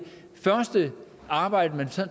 første arbejde man